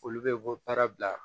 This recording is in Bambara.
Olu bɛ bɔ baara bila